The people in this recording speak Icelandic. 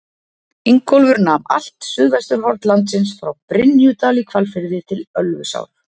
Ingólfur nam allt suðvesturhorn landsins frá Brynjudal í Hvalfirði til Ölfusár.